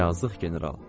Yazıq general.